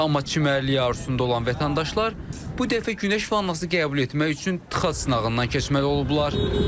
Amma çimərliyi arzusunda olan vətəndaşlar bu dəfə günəş vannası qəbul etmək üçün tıxac sınağından keçməli olublar.